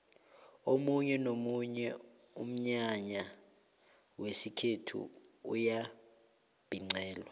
omunye nomunye umnyanya wesikhethu uyabhincelwa